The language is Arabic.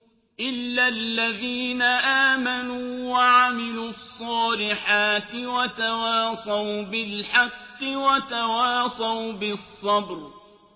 إِلَّا الَّذِينَ آمَنُوا وَعَمِلُوا الصَّالِحَاتِ وَتَوَاصَوْا بِالْحَقِّ وَتَوَاصَوْا بِالصَّبْرِ